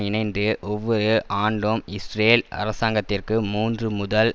இணைந்து ஒவ்வொரு ஆண்டும் இஸ்ரேல் அரசாங்கத்திற்கு மூன்று முதல்